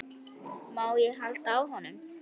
Má ég halda á honum?